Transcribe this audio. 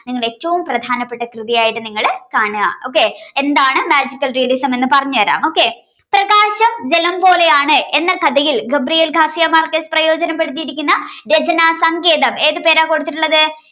നിങ്ങൾ ഏറ്റവും പ്രധാനപ്പെട്ട കൃതിയായിട്ട് നിങ്ങള് കാണുക okay എന്താണ് magical realism ന്ന് പറഞ്ഞു തരാം okay പ്രകാശം ജലം പോലെയാണ് എന്ന കഥയിൽ Gabriel García Márquez പ്രയോജനപ്പെടുത്തിയിട്ടുള്ള രചന സംഗീതം ഏത് പേരാ കൊടുത്തിട്ടുള്ളത്